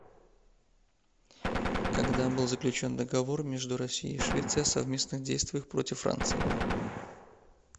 когда был заключен договор между россией и швецией о совместных действиях против франции